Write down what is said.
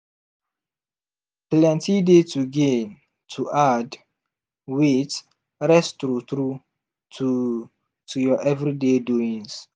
plenty dey to gain to add wait rest true true to to ur everyday doings.